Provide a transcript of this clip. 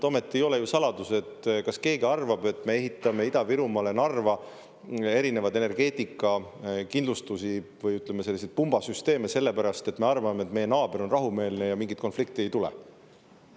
See ei ole ju saladus ja ega ometi keegi ei arva, et me ehitame Ida-Virumaale Narva erinevaid energeetikakindlustusi või, ütleme, selliseid pumbasüsteeme sellepärast, et me arvame, et meie naaber on rahumeelne ja mingit konflikti ei tule.